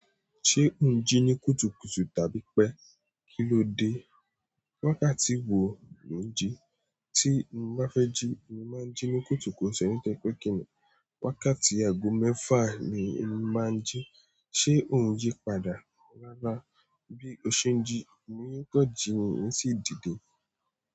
Ṣé ò ń jí ní kùtùkùtù tàbí pé kíló dé? Wákàtí wo ni lo ń jí? Tí mo bá fẹ́ jí, mo máa ń jí ní kùtùkùtù nitoripe kìnní. Wákàtí ago mẹ́fa ni mo máa ń jí. Ṣé ò ń jí padà? Rárá, bí o ṣe ń jí, mo yóò tọ́ jí mi sì dìde.